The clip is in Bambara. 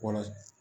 Wala